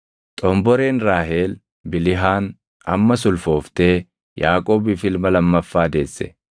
Xomboreen Raahel Bilihaan ammas ulfooftee Yaaqoobiif ilma lammaffaa deesse.